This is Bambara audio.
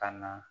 Ka na